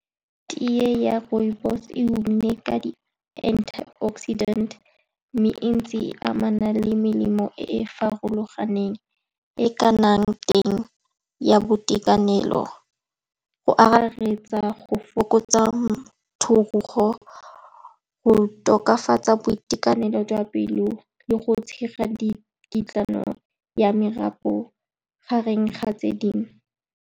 Tea ya rooibos-e e ka di-antioxidant, mme ntse e amana le melemo e e farologaneng e e ka nnang teng ya boitekanelo, go akaretsa go fokotsa , go tokafatsa boitekanelo jwa pelo le go tshega dikitlano ya marapo, gareng ga tse dingwe.